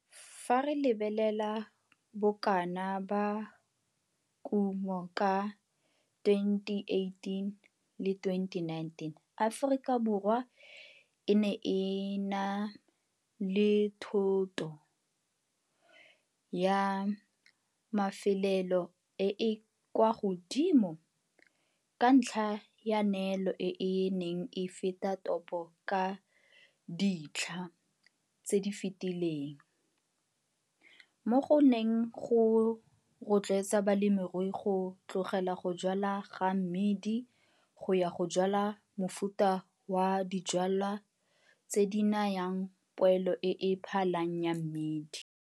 Fa re lebelela bokana ba kumo ka 2018-2019 Aforikaborwa e ne e na le thoto ya mafelelo e e kwa godimo ka ntlha ya neelo e e neng e feta topo ka ditlha tse di fetileng, mo go neng go rotloetsa balemirui go tlogela go jwala ga mmidi go ya go jwala mofuta wa dijwalwa tse di nayang poelo e e phalang ya mmidi.